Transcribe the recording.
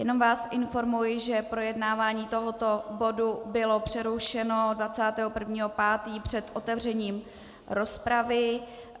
Jenom vás informuji, že projednávání tohoto bodu bylo přerušeno 21. 5. před otevřením rozpravy.